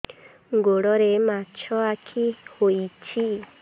ଗୋଡ଼ରେ ମାଛଆଖି ହୋଇଛି